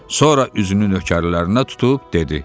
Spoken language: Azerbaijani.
Sonra üzünü nökərlərinə tutub dedi: